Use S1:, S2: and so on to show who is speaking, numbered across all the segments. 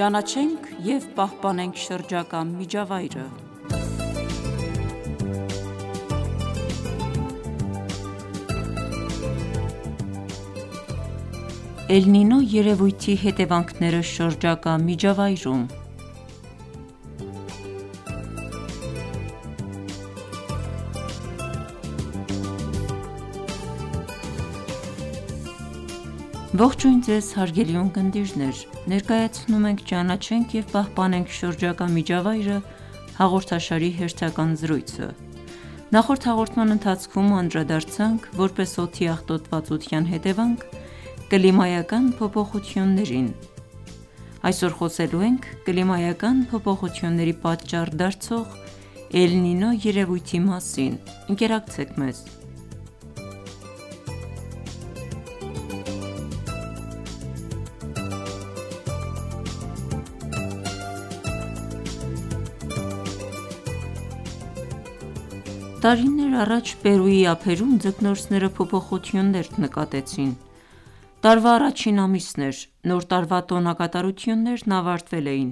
S1: Ճանաչենք և պահպանենք շրջակա միջավայրը Էլ-Նինո երևույթի հետևանքները շրջակա միջավայրում Ողջույն Ձեզ հարգելի ունկնդիրներ: Ներկայացնում ենք «Ճանաչենք և պահպանենք շրջակա միջավայրը» հաղորդաշարի հերթական զրույցը: Նախորդ հաղորդման ընթացքում անդրադարձանք որպես օդի աղտոտվածության հետևանք կլիմայական փոփոխություններին: Այսօր խոսելու ենք կլիմայական փոփոխությունների պատճառ դարձող Էլ-Նինո երևույթի մասին: Ընկերակցեք մեզ: Տարիներ առաջ Պերույի ափերում ձկնորսները փոփոխություններ նկատեցին: Տարվա առաջին ամիսն էր: Նոր տարվա տոնակատարություններն ավարտվել էին,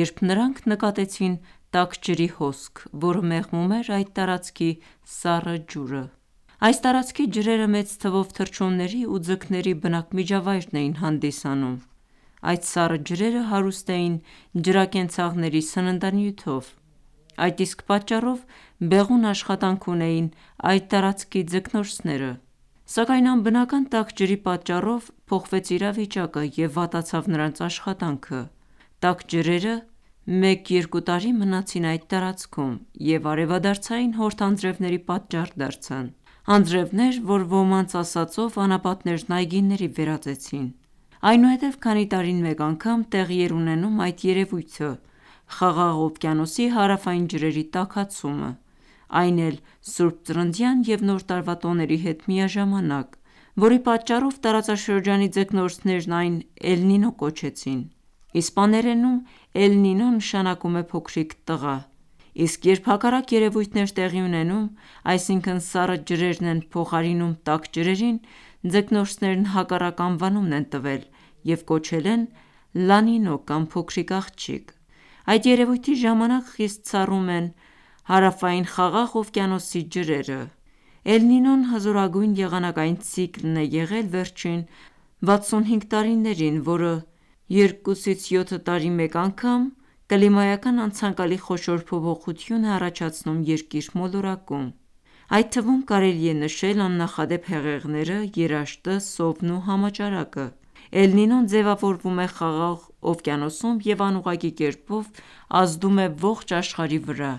S1: երբ նրանք նկատեցին տաք ջրի հոսք, որը մեղմում էր այդ տարածքի սառը ջուրը: Այս տարածքի ջրերը մեծ թվով թռչունների ու ձկների բնակմիջավայրն էին հանդիսանում: Այդ սառը ջրերը հարուստ էին ջրակենցաղների սննդանյութով: Այդ իսկ պատճառով բեղուն աշխատանք ունեին այդ տարածքի ձկնորսները: Սակայն անբնական տաք ջրի պատճառով փոխվեց իրավիճակը և վատացավ նրանց աշխատանքը: Տաք ջրերը 1-2 տարի մնացին այդ տարածքում և արևադարձային հորդ անձրևների պատճառ դարձան: Անձրևներ, որ ոմանց ասածով անապատներն այգիների վերածեցին: Այնուհետև քանի տարին մեկ անգամ տեղի էր ունենում այդ երևույթը՝ Խաղաղ օվկիանոսի հարավային ջրերի տաքացումը, այն էլ Ս. Ծննդյան և նոր տարվա տոների հետ միաժամանակ, որի պատճառով տարածաշրջանի ձկնորսներն այն Էլ-Նինո կոչեցին: Իսպաներենում Էլ-Նինո նշանակում է փոքրիկ տղա, իսկ երբ հակառակ երևույթն է տեղի ունենում, այսինքն սառը ջրերն են փոխարինում տաք ջրերին, ձկնորսներն հակառակ անվանումն են տվել և կոչել են Լանինո կամ փոքրիկ աղջիկ: Այդ երևույթի ժամանակ խիստ սառում են Հարավային խաղաղ օվկիանոսի ջրերը: Էլ-Նինոն հզորագույն եղանակային ցիկլն է եղել վերջին 65 տարիներին, որը 2-7 տարի մեկ անգամ կլիմայական անցանկալի խոշոր փոփոխություն է առաջացնում երկիր մոլորակում: Այդ թվում կարելի է նշել աննախադեպ հեղեղները, երաշտը, սովն ու համաճարակը: Էլ-Նինոն ձևավորվում է Խաղաղ օվկիանոսում և անուղղակի կերպով ազդում է ողջ աշխարհի վրա: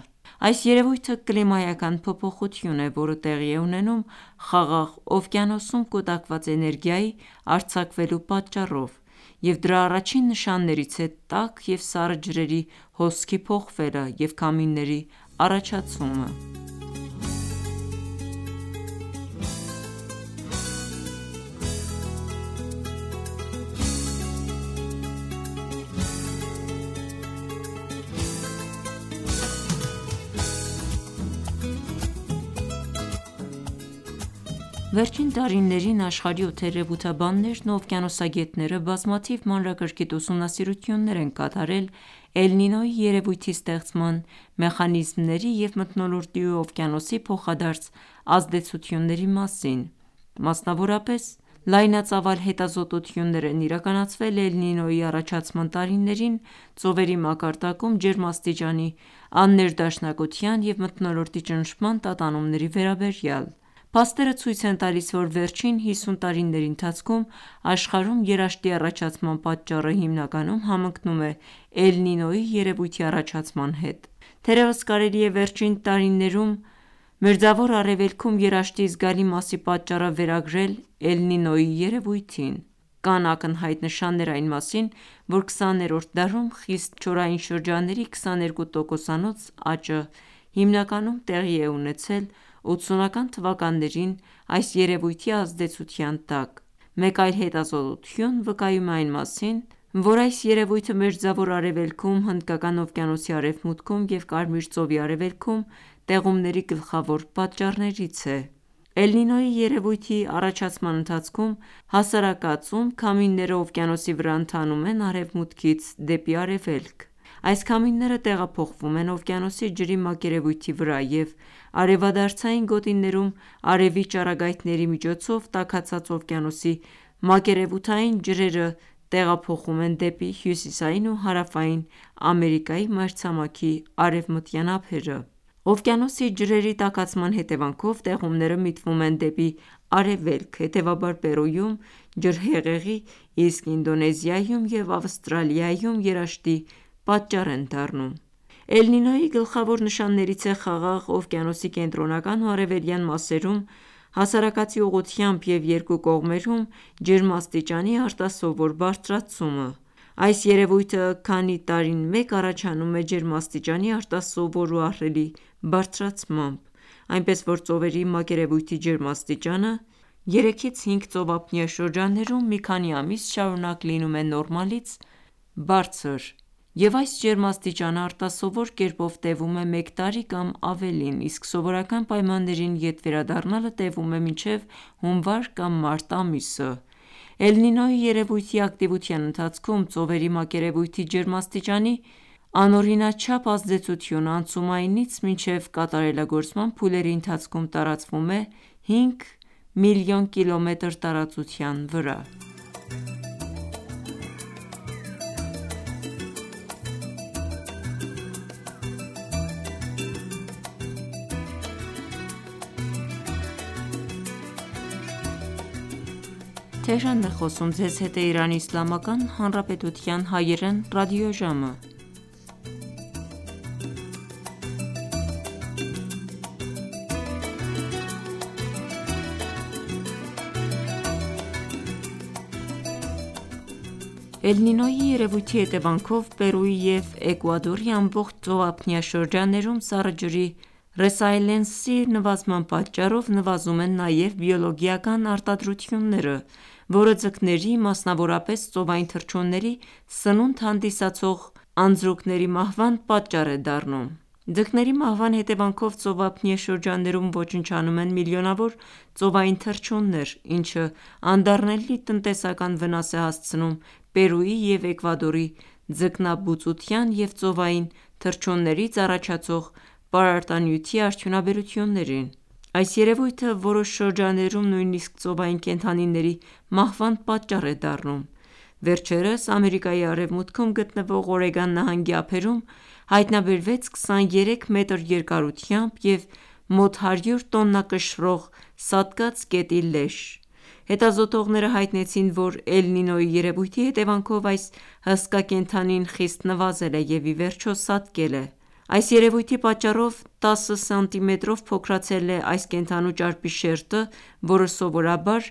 S1: Այս երևույթը կլիմայական փոփոխություն է, որը տեղի է ունենում Խաղաղ օվկիանոսում կուտակված էներգիայի արձակվելու պատճառով և դրա առաջին նշաններից է տաք և սառը ջրերի հոսքի փոխվելը և քամիների առաջացումը: Վերջին տարիներին աշխարհի օդերևութաբաններն ու Օվկիանոսագետները բազմաթիվ մանրակրկիտ ուսումնասիրություններ են կատարել Էլ-Նինոյի երևույթի ստեղծման մեխանիզմների և մթնոլորտի ու օվկիանոսի փոխադարձ ազդեցությունների մասին, մասնավորապես լայնածավալ հետազոտություններ են իրականացվել Էլ-նինոյի առաջացման տարիներին ծովերի մակարդակում ջերմաստիճանի աններդաշնակության և մթնոլորտի ճնշման տատանումների վերաբերյալ: Փաստերը ցույց են տալիս, որ վերջին 50 տարիների ընթացքում աշխարհում երաշտի առաջացման պատճառը հիմնականում համընկնում է Էլ-նինոյի երևույթի առաջացման հետ: Թերևս կարելի է վերջին տարիներում Մերձավոր Արևելքում երաշտի զգալի մասի պատճառը վերագրել Էլ-Նինոյի երևույթին: Կան ակնհայտ նշաններ այն մասին, որ 20-րդ դարում խիստ չորային շրջանների 22 տոկոսանոց աճը հիմնականում տեղի է ունեցել 80-ական թվականներին այս երևույթի ազդեցության տակ: Մեկ այլ հետազոտություն վկայում է այն մասին, որ այս երևույթը Մերձավոր Արևելքում, Հնդկական օվկիանոսի արևմուտքում և Կարմիր ծովի արևելքում տեղումների գլխավոր պատճառներից է: Էլ-Նինոյի երևույթի առաջացման ընթացքում հասարակածում քամիները օվկիանոսի վրա ընթանում են արևմուտքից դեպի արևելք: Այս քամիները տեղափոխվում են օվկիանոսի ջրի մակերևույթի վրա և արևադարձային գոտիներում արևի ճառագայթների միջոցով տաքացած օվկիանոսի մակերևութային ջրերը տեղափոխում են դեպի հյուսիսային ու հարավային Ամերիկայի մայրցամաքի արևմտյան ափերը: Օվկիանոսի ջրերի տաքացման հետևանքով տեղումները միտվում են դեպի արևելք, հետևաբար Պերույում ջրհեղեղի, իսկ Ինդոնեզիայում և Ավստրալիայում երաշտի պատճառ են դառնում: Էլ-Նինոյի գլխավոր նշաններից է Խաղաղ օվկիանոսի կենտրոնական ու արևելյան մասերում հասարակածի ուղղությամբ և երկու կողմերում ջերմաստիճանի արտասովոր բարձրացումը: Այս երևույթը քանի տարին մեկ առաջանում է ջերմաստիճանի արտասովոր ու ահռելի բարձրացմամբ, այնպես որ ծովերի մակերևույթի ջերմաստիճանը 3-5 ծովափնյա շրջաններում մի քանի ամիս շարունակ լինում է նորմայից բարձր և այս ջերմաստիճանը արտասովոր կերպով տևում է մեկ տարի կամ ավելին, իսկ սովորական պայմաններին ետ վերադառնալը տևում է մինչև հունվար կամ մարտ ամիսը: Էլ-Նինոյի երևույթի ակտիվության ընթացքում ծովերի մակերևույթի ջերմաստիճանի անօրինաչափ ազդեցությունը անցումայինից մինչև կատարելագործման փուլերի ընթացքում տարածվում է 5 մլն կիլոմետր տարածության վրա: Էլ-Նինոյի երևույթի հետևանքով Պերույի և Էկուադորի ամբողջ ծովափնյա շրջաններում սառը ջրի ռեսայլենսի նվազման պատճառով նվազում են նաև բիոլոգիական արտադրությունները, որը ձկների, մասնավորապես ծովային թռչունների սննունդ հանդիսացող անձրուկների մահվան պատճառ է դառնում: Ձկների մահվան հետևանքով ծովափնյա շրջաններում ոչնչանում են միլիոնավոր ծովային թռչուններ, ինչը անդառնալի տնտեսական վնաս է հասցնում Պերույի և Էկուադորի ձկնաբուծության և ծովային թռչուններից առաջացող պարարտանյութի արդյունաբերություններին: Այս երևույթը որոշ շրջաններում նույնիսկ ծովային կենդանիների մահվան պատճառ է դառնում: վերջերս Ամերիկայի արևմուտքում գտնվող Օրեգոն նահանգի ափերում հայտնաբերվեց 23 մետր երկարությամբ և մոտ 100 տոննա կշռող սատկած կետի լեշ: Հետազոտողները հայտնեցին, որ Էլ-Նինոյի երևույթի հետևանքով այս հսկա կենդանին խիստ նվազել և ի վերջո սատկել է: Այս երևույթի պատճառով 10սմ-ով փոքրացել է այս կենդանու ճարպի շերտը, որը սովորաբար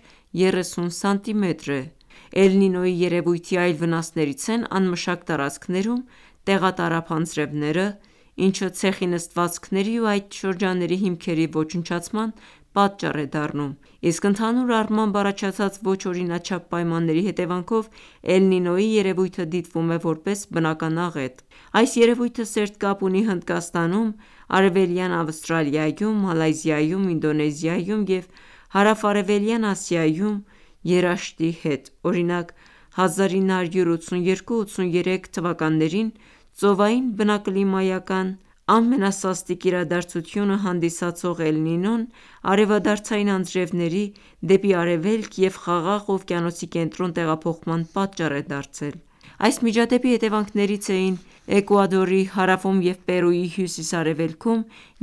S1: 30սմ է: Էլ-Նինոյի երևույթի այլ վնասներից են անմշակ տարածքներում տեղատարափ անձրևները, ինչը ցեխի նստվածքների ու այդ շրջանների հիմքերի ոչնչացման պատճառ է դառնում, իսկ ընդհանուր առմամբ առաջացած ոչ օրինաչափ պայմանների հետևանքով Էլ-նինոյի երևույթը դիտվում է որպես բնական աղետ: Այս երևույթը սերտ կապ ունի Հնդկաստանում, արևելյան Ավստրալիայում, Մալայզիայում, Ինդոնեզիայում և հարավ-արևելյան Ասիայում երաշտի հետ: Օրինակ՝ 1982-1983թթ. Ծովային բնակլիմայական ամենասաստիկ իրադարձությունն հանդիսացող Էլ-Նինոն արևադարձային անձրևների՝ դեպի արևելք և Խաղաղ օվկիանոսի կենտրոն տեղափոխման պատճառ է դարձել: Այս միջադեպի հետևանքներից էին Էկուադորի հարավում և Պերույի հյուսիս-արևելքում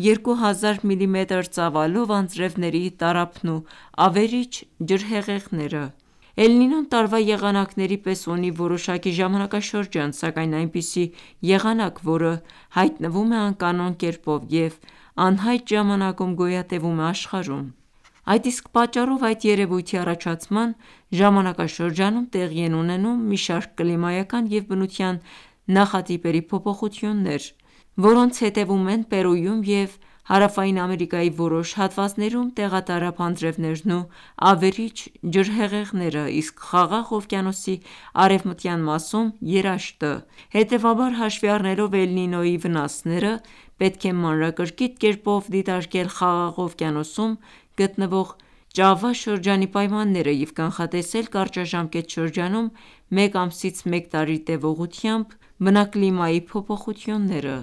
S1: 2000 միլիմետր ծավալով անձրևների տարափն ու ավերիչ ջրհեղեղները: Էլ-Նինոն տարվա եղանակների պես ունի որոշակի ժամանակաշրջան, սակայն այնպիսի եղանակ, որը հայտնվում է անկանոն կերպով և անհայտ ժամանակում գոյատևում է աշխարհում: Այդ իսկ պատճառով այդ երևույթի առաջացման ժանակաշրջանում տեղի են ունենում մի շարք կլիմայական և բնության նախատիպերի փոփոխություններ, որոնց հետևում են Պերույում և հարավային Ամերիկայի որոշակի հատվածներում տեղատարափ անձրևներն ու ավերիչ ջրհեղեղները, իսկ Խաղաղ օվկիանոսի արևմտյան մասում՝ երաշտը: Հետևաբար, հաշվի առնելով Էլ-նինոյի վնասները, պետք է մանրակրկիտ կերպով դիտարկել Խաղաղ օվկիանոսում գտնվող Ճավա շրջանի պայմանները և կանխատեսել կարճաժամկետ շրջանում (մեկ ամսից մեկ տարի տևողությամբ) բնակլիմայի փոփոխությունները: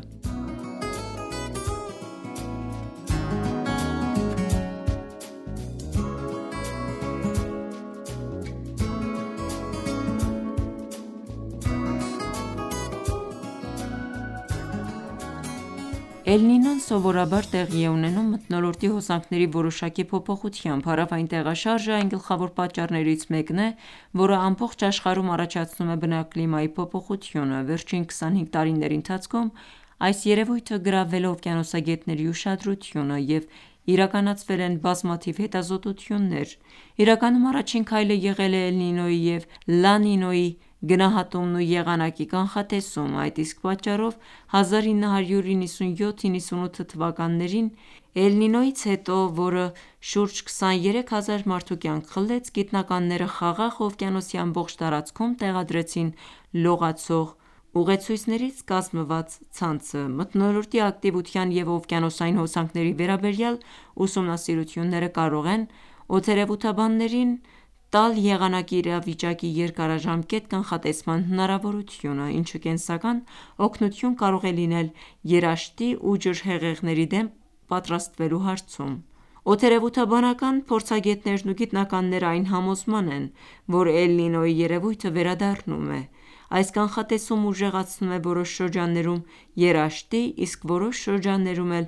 S1: Էլ-նինոն սովորաբար տեղի է ունենում մթնոլորտի հոսանքների որոշակի փոփոխությամբ: Հարավային տեղաշարժը այն գլխավոր պատճառներից մեկն է, որը ամբողջ աշխարհում առաջացնում է բնակլիմայի փոփոխությունը: Վերջին 25 տարիների ընթացքում այս երևույթը գրավել է օվկիանոսագետների ուշադրությունը և իրականացվել են բազմաթիվ հետազոտություններ: Իրականում առաջին քայլը եղել է Էլ-Նինոյի և Լա-Նինոյի գնահատումն ու եղանակի կանխատեսումը: Այդ իսկ պատճառով 1997-98թթ. Էլ-Նինոյից հետո, որը շուրջ 23 հազար մարդու կյանք խլեց, գիտնականները Խաղաղ օվկիանոսի ամբողջ տարածքում տեղադրեցին լողացող ուղեցույցներից կազմված ցանցը: Մթնոլորտի ակտիվության և օվկիանոսային հոսանքների վերաբերյալ ուսումնասիրությունները կարող են օդերևութաբաններին տալ եղանակի իրավիճակի երկարաժամկետ կանխատեսման հնարավորությունը, ինչը կենսական օգնություն կարող է լինել երաշտի ու ջրհեղեղների դեմ պատրաստվելու հարցում: Օդերևութաբանական փորձագետներն ու գիտնականները այն համոզմանն են, որ Էլ-Նինոյի երևույթը վերադառնում է: Այս կանխատեսումը ուժեղացնում է որոշ շրջաններում երաշտի, իսկ որոշ շրջաններում էլ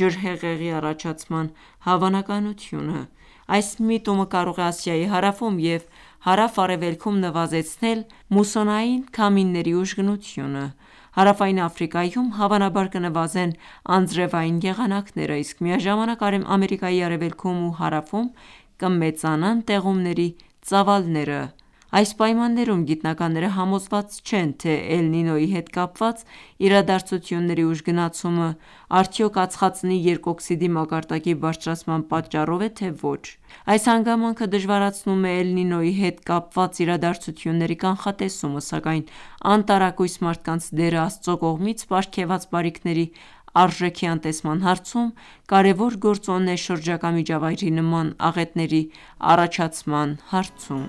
S1: ջրհեղեղի առաջացման հավանականությունը: Այս միտումը կարող է Ասիայի հարավում և հարավ արևելքում նվազեցնել մուսոնային քամիների ուժգնությունը: Հարավային Աֆրիկայում հավանաբար կնվազեն անձրևային եղանակները, իսկ միաժամանակ Ամերիկայի արևելքում ու հարավում կմեծանան տեղումների ծավալները: Այս պայմաններում գիտնականները համոզված չեն, թե Էլ-Նինոյի հետ կապված իրադարձությունների ուժգնացումը արդյո՞ք ածխածնի երկօքսիդի մակարդակի բարձրացման պատճառով է, թե ոչ: Այս հանգամանքը դժվարացնում է Էլ-Նինոյի հետ կապված իրադարձությունների կանխատեսումը, սական անտարակույս մարդկանց դերը Աստծո կողմից պարգևած բարիքների արժեքի անտեսման հարցում կարևոր գործոն է շրջակա միջավայրի նման աղետների առաջացման հարցում: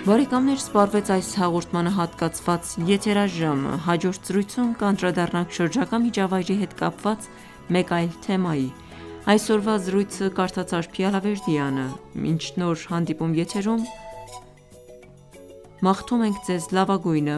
S1: Բարեկամներ սպառվեց այս հաղորդմանը հատկացված եթերաժամը: Հաջորդ զրույցում կանդրադառնանք շրջակա միջավայրի հետ կապված մեկ այլ թեմայի: Մինչ նոր հանդիպում եթերում մաղթում ենք Ձեզ լավագույնը: